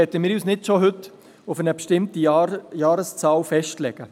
Andererseits möchten wir uns heute nicht schon auf eine bestimmte Jahreszahl festlegen.